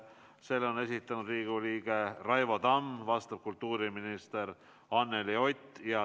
Selle on esitanud Riigikogu liige Raivo Tamm ja vastab kultuuriminister Anneli Ott.